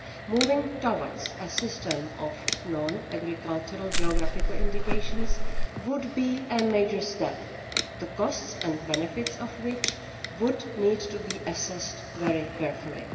Moving towards a system of non agricultural geographical indications would be a major step, the costs and benefits of which would need to be assessed very carefully.